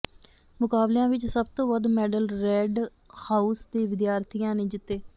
ਮੁਕਾਬਲਿਆਂ ਵਿਚ ਸਭ ਤੋਂ ਵੱਧ ਮੈਡਲ ਰੈੱਡ ਹਾਊਸ ਦੇ ਵਿਦਿਆਰਥੀਆਂ ਨੇ ਜਿੱਤੇ